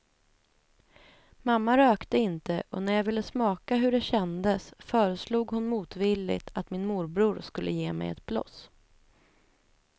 Mamma rökte inte och när jag ville smaka hur det kändes, föreslog hon motvilligt att min morbror skulle ge mig ett bloss.